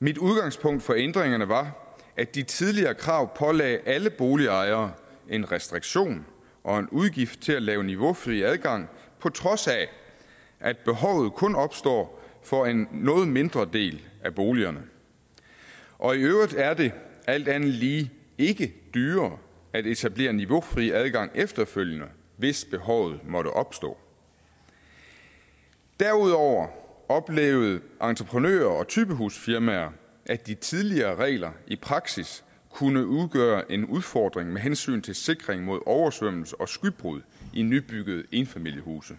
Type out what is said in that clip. mit udgangspunkt for ændringerne var at de tidligere krav pålagde alle boligejere en restriktion og en udgift til at lave niveaufri adgang på trods af at behovet kun opstår for en noget mindre del af boligerne og i øvrigt er det alt andet lige ikke dyrere at etablere niveaufri adgang efterfølgende hvis behovet måtte opstå derudover oplevede entreprenører og typehusfirmaer at de tidligere regler i praksis kunne udgøre en udfordring med hensyn til sikring mod oversvømmelse og skybrud i nybyggede enfamiliehuse